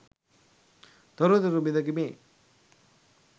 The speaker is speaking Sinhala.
තොරතුරු බිඳකි මේ.